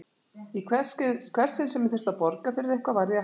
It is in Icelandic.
Í hvert sinn sem þurfti að borga fyrir eitthvað varð ég að hætta.